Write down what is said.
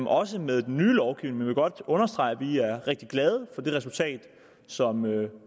også med den nye lovgivning vil godt understrege at vi er rigtig glade for det resultat som vi